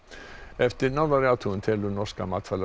eftir nánari athugun telur norska